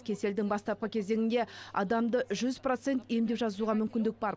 кеселдің бастапқы кезеңінде адамды жүз процент емдеуге мүмкіндік бар